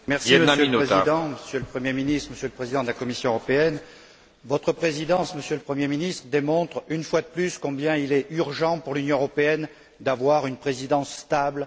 Monsieur le Président, Monsieur le Premier ministre, Monsieur le Président de la Commission européenne, votre Présidence, Monsieur le Premier ministre, démontre, une fois de plus, combien il est urgent pour l'Union européenne d'avoir une Présidence stable.